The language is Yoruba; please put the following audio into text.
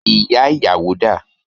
Ìyá ìyàwó dà?